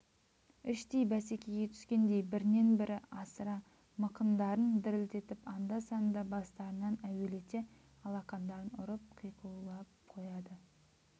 іштей бәсекеге түскендей бірінен бір асыра мықындарын дірілдетіп анда-санда бастарынан әуелете алақандарын ұрып қиқулап қояды